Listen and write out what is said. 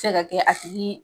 Cɛ ka kɛ a tigi